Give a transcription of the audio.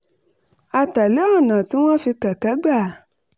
a tẹ̀lé ọ̀nà tí wọ́n fi kẹ̀kẹ́ gbà